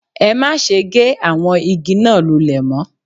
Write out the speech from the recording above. Ẹ má se gé àwọn igi náà lulè mó